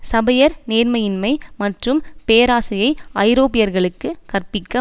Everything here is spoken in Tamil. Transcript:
சபையர் நேர்மையின்மை மற்றும் பேராசையை ஐரோப்பியர்களுக்கு கற்பிக்க